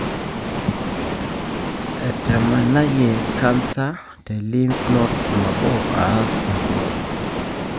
etamanayie canser te lymph nodes nabo ash inkumok.